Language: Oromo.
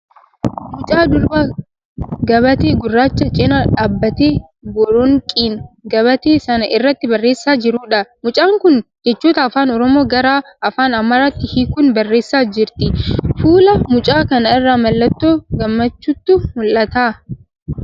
Mucaa durbaa gabatee gurraacha cina dhaabbattee boronqiin gabatee sana irratti barreessaa jirtuudha. Mucaan kun jechoota afaan Oromoo gara afaan Amaaraatti hiikuun barreessaa jirti. Fuula mucaa kanaa irraa mallattoo gammachuutu mul'ata.